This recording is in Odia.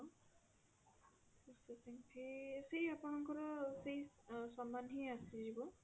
processing fee ସେଇ ଆପଣଙ୍କର ସେଇ ଆ ସମାନ ହିଁ ଆସିଯିବ